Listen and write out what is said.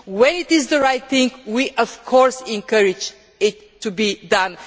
When it is the right thing we of course encourage it to be done.